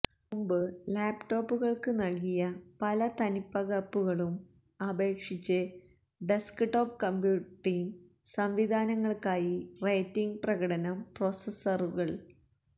മുമ്പ് ലാപ്ടോപ്പുകൾക്കും നൽകിയ പല തനിപ്പകർപ്പുകളും അപേക്ഷിച്ച് ഡെസ്ക്ടോപ്പ് കമ്പ്യൂട്ടിംഗ് സംവിധാനങ്ങൾക്കായി റേറ്റിംഗ് പ്രകടനം പ്രോസസ്സറുകൾ